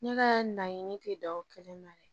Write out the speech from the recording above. Ne ka laɲini tɛ da o kelen na de